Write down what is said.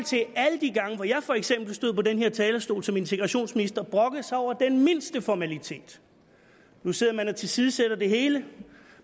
alle de gange hvor jeg for eksempel stod på den her talerstol som integrationsminister brokkede sig over den mindste formalitet nu sidder man og tilsidesætter det hele